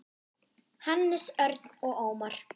Hannes, Örn og Ómar.